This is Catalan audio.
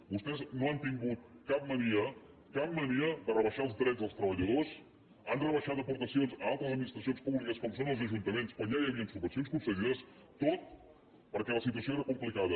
vostès no han tingut cap mania cap mania de rebaixar els drets dels treballadors han rebaixat aportacions a altres administracions públiques com són els ajuntaments quan ja hi havia subvencions concedides tot perquè la situació era complicada